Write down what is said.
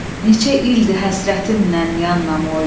neçə ildir həsrətinlə yan namoy.